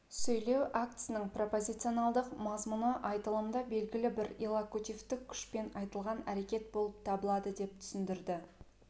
сөйлеу актісінің пропозиционалдық мазмұны айтылымда белгілі бір иллокутивтік күшпен айтылған әрекетболып табылады деп түсіндірді